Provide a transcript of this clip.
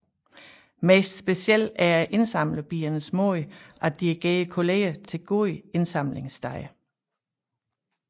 Mest speciel er indsamlerbiernes måde at dirigere kolleger til gode indsamlingssteder